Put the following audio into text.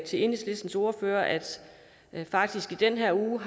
til enhedslistens ordfører at jeg faktisk i den her uge